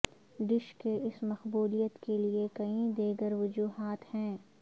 dish کے اس مقبولیت کے لئے کئی دیگر وجوہات ہیں